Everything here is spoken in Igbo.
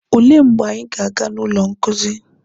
Olee mgbe anyị ga-aga na ụlọ nkuzi?